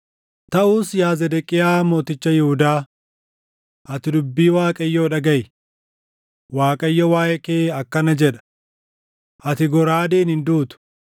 “ ‘Taʼus yaa Zedeqiyaa mooticha Yihuudaa, ati dubbii Waaqayyoo dhagaʼi. Waaqayyo waaʼee kee akkana jedha: Ati goraadeen hin duutu;